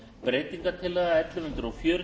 hæstvirtur forseti við tökum hér fyrir